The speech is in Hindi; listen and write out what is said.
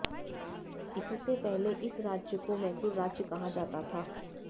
इससे पहले इस राज्य को मैसूर राज्य कहा जाता था